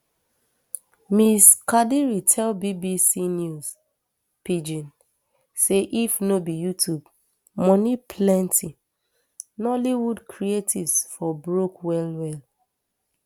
ms kadiri tell bbc news pidgin say if no be youtube moni plenty nollywood creatives for broke wellwell